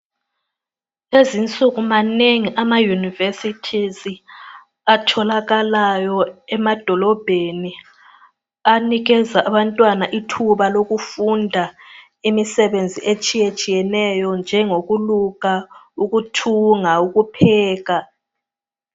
Kulezinsuku manengi ama yunivesithizi atholakalayo emadolobheni anikeza abantwana ithuba lokufunda imisebenzi etshiyetshiyeneyo njengokuluka, ukuthunga ,ukupheka.